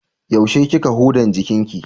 Yaushe kika hudan jikinki?